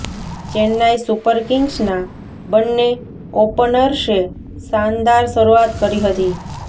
Chennai super કિંગ્સના બંન્ને ઓપનર્સે શાનદાર શરૂઆત કરી હતી